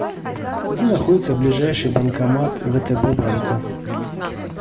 где находится ближайший банкомат втб банка